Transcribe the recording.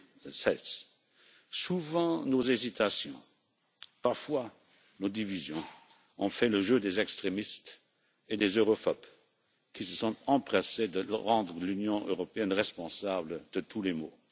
2016. Souvent, nos hésitations, parfois nos divisions, ont fait le jeu des extrémistes et des europhobes qui se sont empressés de rendre l'Union européenne responsable de tous les maux.